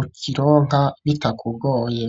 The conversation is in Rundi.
ukironka bitakugoye.